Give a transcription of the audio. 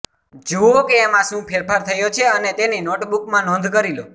જુઓ કે એમાં શું ફેરફાર થયો છે અને તેની નોટબુકમાં નોંધ કરી લો